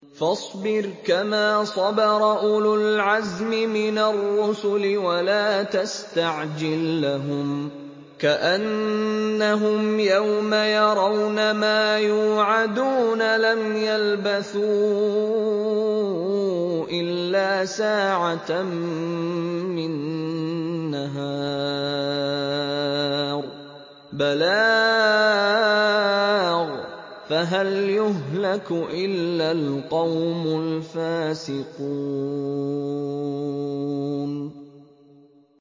فَاصْبِرْ كَمَا صَبَرَ أُولُو الْعَزْمِ مِنَ الرُّسُلِ وَلَا تَسْتَعْجِل لَّهُمْ ۚ كَأَنَّهُمْ يَوْمَ يَرَوْنَ مَا يُوعَدُونَ لَمْ يَلْبَثُوا إِلَّا سَاعَةً مِّن نَّهَارٍ ۚ بَلَاغٌ ۚ فَهَلْ يُهْلَكُ إِلَّا الْقَوْمُ الْفَاسِقُونَ